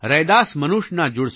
रैदास मनुष ना जुड सके